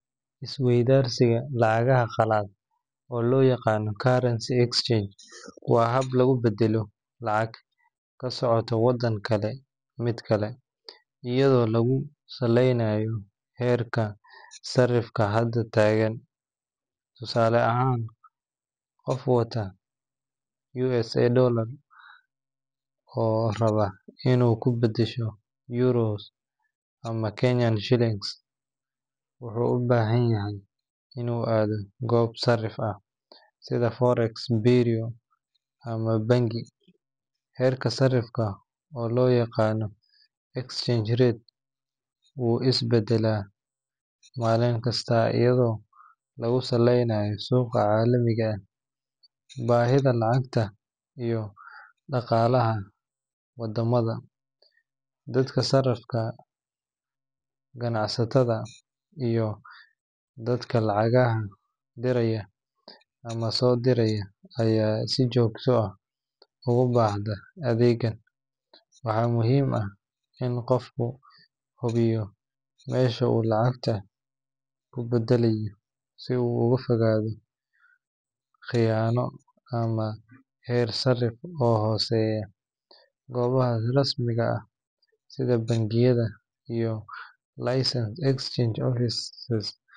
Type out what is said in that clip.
Is-weydaarsiga lacagaha qalaad, oo loo yaqaan currency exchange, waa hab lagu beddelo lacag ka socota waddan kale mid kale, iyadoo lagu saleynayo heerka sarrifka hadda taagan. Tusaale ahaan, qof wata US dollars oo raba inuu ku beddelo euros ama Kenyan shillings, wuxuu u baahan yahay inuu aado goob sarrif ah sida forex bureau ama bangi. Heerka sarrifka, oo loo yaqaan exchange rate, wuu is beddelaa maalin kasta iyadoo lagu saleynayo suuqa caalamiga ah, baahida lacagta, iyo dhaqaalaha waddamada. Dadka safarka ah, ganacsatada, iyo dadka lacagaha diraya ama soo diraya ayaa si joogto ah ugu baahda adeeggan. Waxaa muhiim ah in qofku hubiyo meesha uu lacagta ku beddelayo si uu uga fogaado khiyaano ama heer sarrif oo hooseeya. Goobaha rasmiga ah sida bangiyada iyo licensed exchange offices.